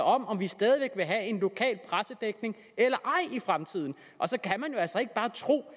om om vi stadig væk vil have en lokal pressedækning eller ej i fremtiden og så kan man altså ikke bare tro at